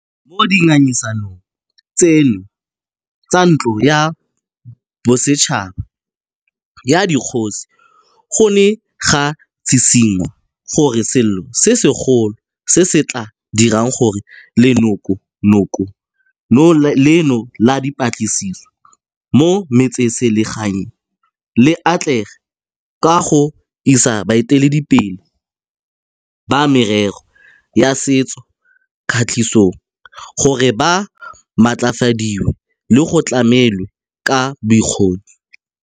Mo dingangisanong tseno tsa Ntlo ya Bosetšhaba ya Dikgosi go ne ga tshitshi ngwa gore selo se segolo se se tla dirang gore Leanoko nokono leno la Dipeeletso mo Metseselegaeng le atlege ke go isa baeteledipele ba merero ya setso katisong gore ba matlafadiwe le go tlamelwa ka bokgoni.